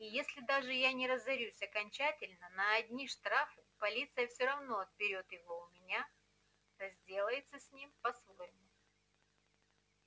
и если даже я не разорюсь окончательно на одни штрафы полиция всё равно отберёт его у меня и разделается с ним по своему